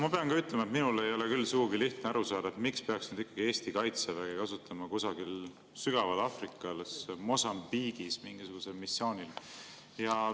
Ma pean ka ütlema, et minul ei ole küll sugugi lihtne aru saada, miks peaks ikkagi Eesti kaitseväge kasutama kusagil sügaval Aafrikas, Mosambiigis mingisugusel missioonil.